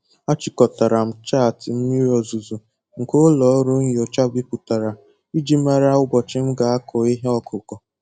Achịkọtara m chaatị mmiri ozuzo nke ụlọ ọrụ nyocha bipụtara iji mara ụbọchị m ga-akụ ihe ọkụkụ